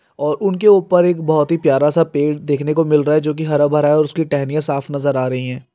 और उनके उपर एक बहोत ही प्यारा सा पेड़ देखने को मिल रहा है जो की हरा भरा है और उसकी टहनियां साफ नजर आ रही है।